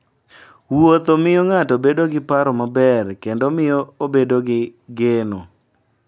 Wuotho miyo ng'ato bedo gi paro maber kendo miyo obedo gi geno.